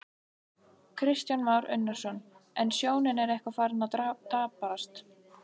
Kristján Már Unnarsson: En sjónin er eitthvað farin að daprast?